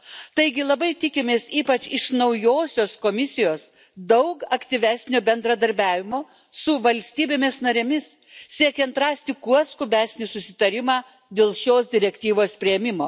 Taigi labai tikimės, ypač iš naujosios Komisijos, daug aktyvesnio bendradarbiavimo su valstybėmis narėmis, siekiant rasti kuo skubesnį susitarimą dėl šios direktyvos priėmimo.